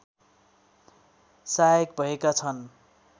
सहायक भएका छन्